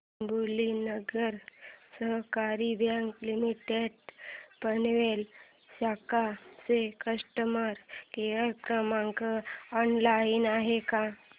डोंबिवली नागरी सहकारी bank limited Panvel शाखा चा कस्टमर केअर क्रमांक ऑनलाइन आहे का